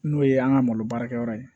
N'o ye an ka malo baara kɛ yɔrɔ ye